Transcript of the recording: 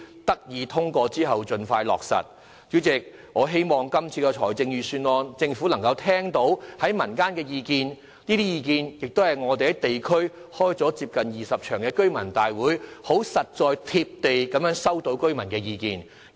我也希望政府能就今次的預算案聆聽民間的意見，因為這些意見是我們在地區舉行接近20場居民大會，以非常實在、貼地的方式收到的居民意見。